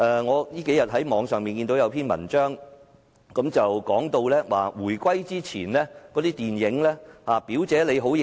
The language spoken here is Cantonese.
我這數天在網上看見有一篇文章，談到回歸前的電影，例如"表姐，你好嘢！